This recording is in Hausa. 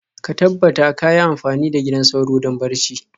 ka tabbata kayi amfani da gidan sauro don barci.